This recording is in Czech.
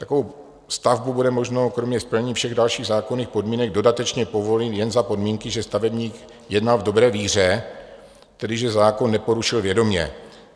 Takovou stavbu bude možné kromě splnění všech dalších zákonných podmínek dodatečně povolit jen za podmínky, že stavebník jednal v dobré víře, tedy že zákon neporušil vědomě.